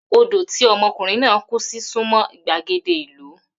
Odò tí omokunrin náà kú sí súnmọ́ ìgbàgede ìlú.